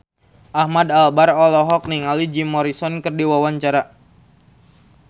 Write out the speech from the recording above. Ahmad Albar olohok ningali Jim Morrison keur diwawancara